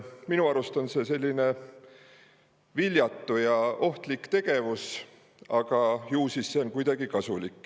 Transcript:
Minu arust on see viljatu ja ohtlik tegevus, aga ju see siis on kellelegi kuidagi kasulik.